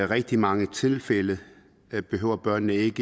rigtig mange tilfælde behøver børn ikke